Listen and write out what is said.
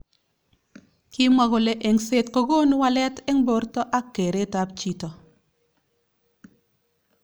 Kimwa kole engset kokonu walet eng borto ak keret ab chito.